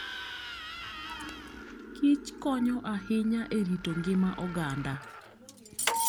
Kich konyo ahinya e rito ngima oganda.